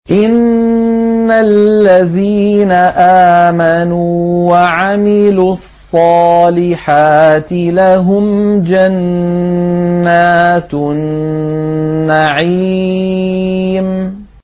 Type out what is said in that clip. إِنَّ الَّذِينَ آمَنُوا وَعَمِلُوا الصَّالِحَاتِ لَهُمْ جَنَّاتُ النَّعِيمِ